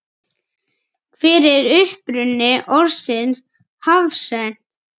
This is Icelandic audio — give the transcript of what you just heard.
Hver er uppruni orðsins hafsent?